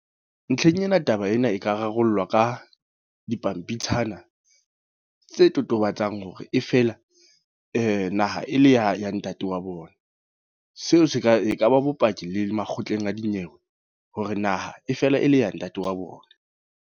Ntlheng ena taba ena e ka rarollwa ka, dipampitshana tse totobatsang hore e feela e naha e le ya ya ntate wa bona. Se o se ka e kaba bopaki le makgotleng a dinyewe. Hore naha e feela e le ya ntate wa bona.